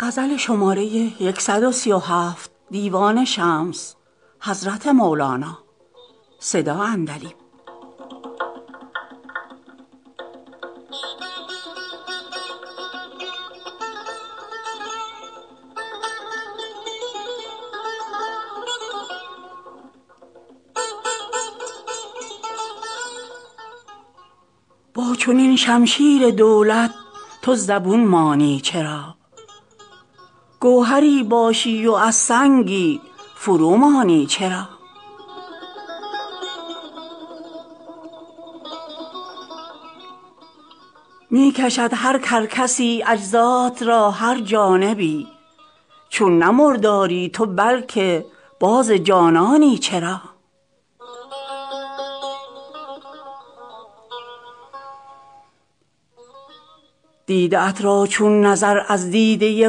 با چنین شمشیر دولت تو زبون مانی چرا گوهری باشی و از سنگی فرومانی چرا می کشد هر کرکسی اجزات را هر جانبی چون نه مرداری تو بلک باز جانانی چرا دیده ات را چون نظر از دیده ی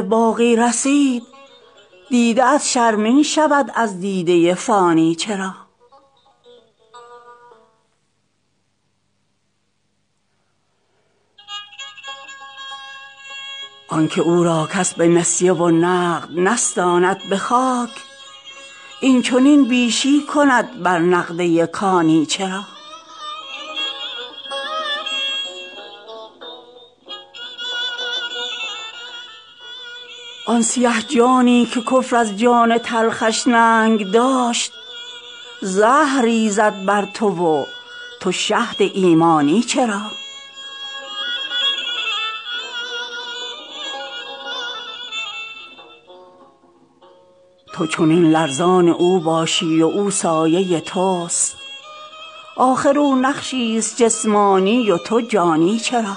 باقی رسید دیده ات شرمین شود از دیده ی فانی چرا آن که او را کس به نسیه و نقد نستاند به خاک این چنین بیشی کند بر نقده ی کانی چرا آن سیه جانی که کفر از جان تلخش ننگ داشت زهر ریزد بر تو و تو شهد ایمانی چرا تو چنین لرزان او باشی و او سایه توست آخر او نقشیست جسمانی و تو جانی چرا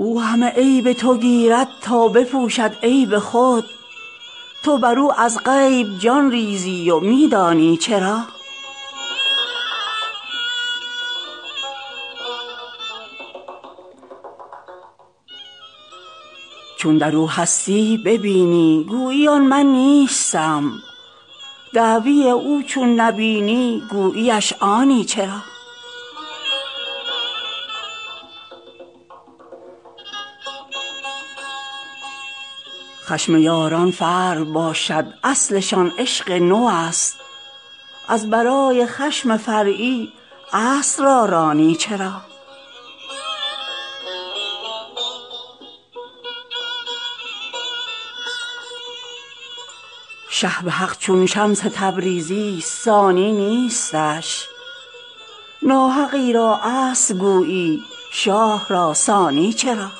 او همه عیب تو گیرد تا بپوشد عیب خود تو بر او از غیب جان ریزی و می دانی چرا چون در او هستی ببینی گویی آن من نیستم دعوی او چون نبینی گویی اش آنی چرا خشم یاران فرع باشد اصلشان عشق نوست از برای خشم فرعی اصل را رانی چرا شه به حق چون شمس تبریزیست ثانی نیستش ناحقی را اصل گویی شاه را ثانی چرا